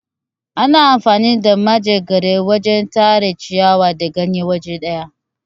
Ana amfani da manjegara wajen Tara ciyawa da ganye waje daya.